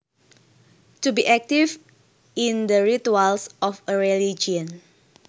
To be active in the rituals of a religion